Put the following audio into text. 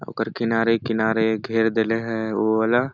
ओकर किनारे-किनारे घेर देले हे ओला--